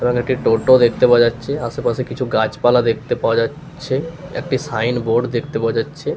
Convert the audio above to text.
এবং একটি টোটো দেখতে পাওয়া যাচ্ছে আশেপাশে কিছু গাছপালা দেখতে পাওয়া যাচ্ছে একটি সাইন বোর্ড দেখতে পাওয়া যাচ্ছে।